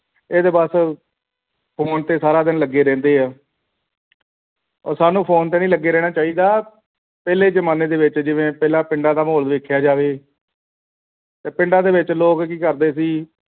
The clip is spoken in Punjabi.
ਇਹ ਤੇ ਬੱਸ phone ਤੇ ਸਾਰਾ ਦਿਨ ਲੱਗੇ ਰਹਿੰਦੇ ਹੈ ਹੋਰ ਸਾਨੂ ਫੋਨ ਤੇ ਨਹੀਂ ਲੱਗੇ ਰਹਿਣਾ ਚਾਹੀਦਾ ਪਹਿਲੇ ਜਮਾਨੇ ਦੇ ਵਿੱਚ ਜਿਵੇਂ ਪਿੰਡਾਂ ਦਾ ਮਾਹੌਲ ਦੇਖਿਆ ਜਾਵੇ ਪਿੰਡਾ ਦੇ ਵਿਚ ਲੋਕ ਕੀ ਕਰਦੇ ਸੀ